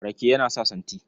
Rake yana sa santi.